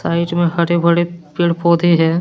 में हरे भरे पेड़ पौधे हैं।